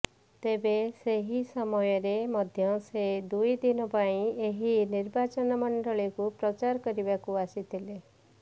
ତେବେ ସେହି ସମୟରେ ମଧ୍ୟ ସେ ଦୁଇ ଦିନ ପାଇଁ ଏହି ନିର୍ବାଚନ ମଣ୍ଡଳୀକୁ ପ୍ରଚାର କରିବାକୁ ଆସିଥିଲେ